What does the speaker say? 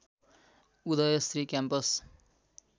Uday Shri campus